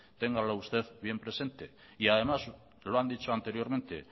téngalo usted bien presente y además lo han dicho anteriormente